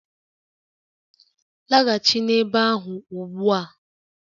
Laghachi n'ebe ahụ ugbu a!